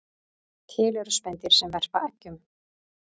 Til eru spendýr sem verpa eggjum